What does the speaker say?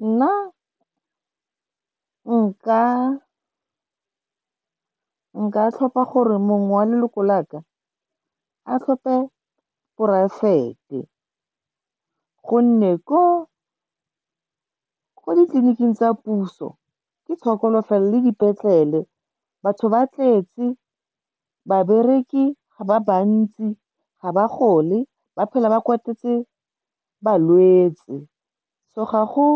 Nna nka tlhopha gore mongwe wa leloko laka a tlhope poraefete, gonne ko ditleliniking tsa puso ke tshokolo fela le dipetlele. Batho ba tletse, babereki ga ba bantsi, ga ba gole, ba phela ba kwatetse balwetse. So ga go